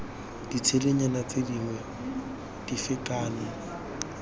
ditshedinyana tse dingwe dife kana